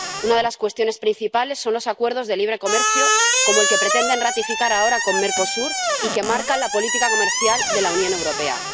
Una de las cuestiones principales son los acuerdos de libre comercio, como el que pretenden ratificar ahora con Mercosur y que marca la política comercial de la Unión Europea.